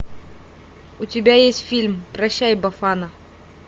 у тебя есть фильм прощай бафана